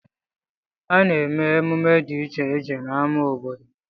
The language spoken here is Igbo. A na-eme emume dị iche iche n'ama obodo.